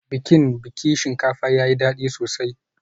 Bikin biki shinkafa tayi dadi sosai